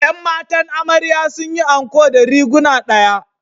’Yan matan amarya sun yi anko ɗariguna ɗaya